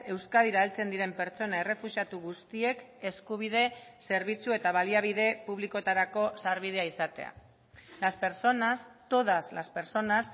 euskadira heltzen diren pertsona errefuxiatu guztiek eskubide zerbitzu eta baliabide publikoetarako sarbidea izatea las personas todas las personas